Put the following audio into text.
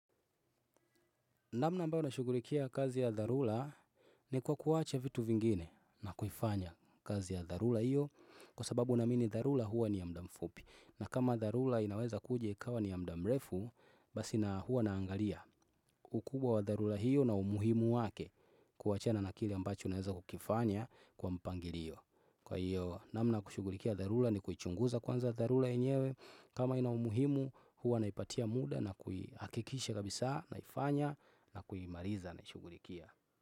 Namna mbavyo na shughulikia kazi ya dharula ni kwa kuacha vitu vingine na kuifanya kazi ya dharula hiyo kwa sababu na mini dharula huwa ni ya mudamfupi. Na kama dharula inaweza kuji ikawa ni ya muda mrefu basi na huwa naangalia ukubwa wa dharula hiyo na umuhimu wake kuachana na kili ambacho naweza kukifanya kwa mpangilio. Kwa hiyo namna ya kushughulikia dharula ni kuichunguza kwanza dharula enyewe. Kama ina umuhimu huwa naipatia muda na kuhakikisha kabisa naifanya na kuimariza na shughulikia.